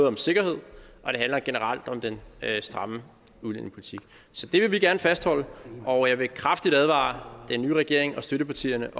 om sikkerhed og det handler generelt om den stramme udlændingepolitik så det vil vi gerne fastholde og jeg vil kraftigt advare den nye regering og støttepartierne